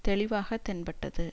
தெளிவாக தென்பட்டது